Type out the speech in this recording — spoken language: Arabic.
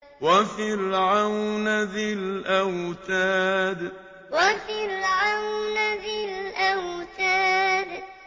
وَفِرْعَوْنَ ذِي الْأَوْتَادِ وَفِرْعَوْنَ ذِي الْأَوْتَادِ